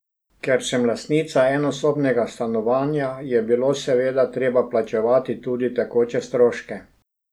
Ker sem lastnica enosobnega stanovanja, je bilo seveda treba plačevati tudi tekoče stroške.